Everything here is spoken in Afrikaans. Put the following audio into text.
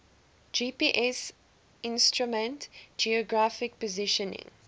gpsinstrument geographic positioning